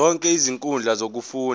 zonke izinkundla zokufunda